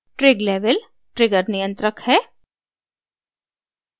trig level trigger नियंत्रक है